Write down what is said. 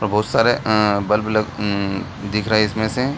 बहुत सारे अंअ बल्ब लग अंअ दिख रहे इसमें से।